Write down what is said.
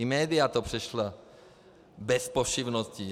I média to přešla bez povšimnutí.